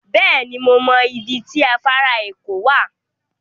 Beeni, mo mo ibi ti afara eko wa